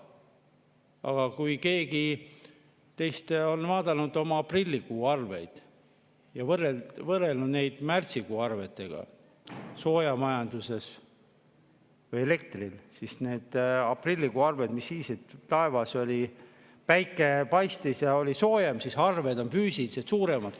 Aga kui keegi teist on vaadanud oma aprillikuu arveid ja võrrelnud neid märtsikuu arvetega soojamajanduses või elektri eest, siis need aprillikuu arved, mis siis, et taevas päike paistis ja oli soojem, on füüsilisest suuremad.